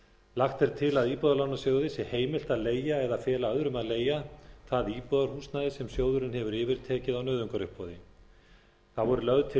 lagt er til að íbúðalánasjóði sé heimilt að leigja eða fela öðrum að leigja það íbúðarhúsnæði sem sjóðurinn hefur yfirtekið á nauðungaruppboði þá er lögð til